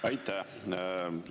Aitäh!